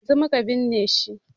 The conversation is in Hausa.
Yanzun muka binne shi